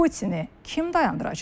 Putini kim dayandıracaq?